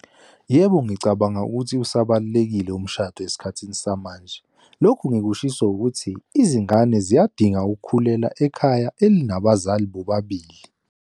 Yebo, ngicabanga ukuthi usabalekile umshado esikhathini samanje. Lokhu ngikushiso ukuthi, izingane ziyadinga ukukhulela ekhaya elinabazali bobabili.